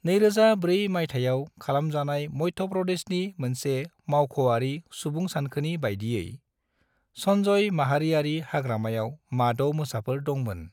2004 मायथायाव खालामजानाय मध्य प्रदेशनि मोनसे मावख'आरि सुबुंसानखोनि बायदियै, संजय माहारियारि हाग्रामायाव माद' मोसाफोर दंमोन ।